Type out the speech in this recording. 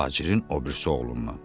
Tacirin o birisi oğlundan.